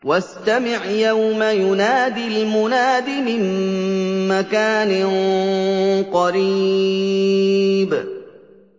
وَاسْتَمِعْ يَوْمَ يُنَادِ الْمُنَادِ مِن مَّكَانٍ قَرِيبٍ